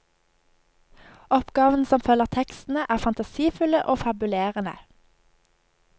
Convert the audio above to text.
Oppgavene som følger tekstene, er fantasifulle og fabulerende.